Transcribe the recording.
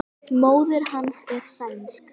Móðir hans er sænsk.